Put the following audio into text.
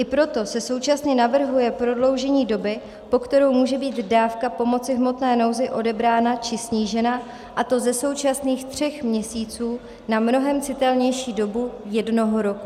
I proto se současně navrhuje prodloužení doby, po kterou může být dávka pomoci v hmotné nouzi odebrána či snížena, a to ze současných tří měsíců na mnohem citelnější dobu jednoho roku.